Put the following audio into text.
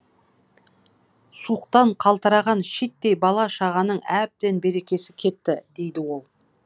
суықтан қалтыраған шиттей бала шағаның әбден берекесі кетті дейді ол